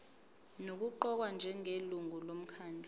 nokuqokwa njengelungu lomkhandlu